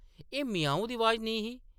एह्‌‌ ‘म्याऊं’ दी अवाज नेईं ही ।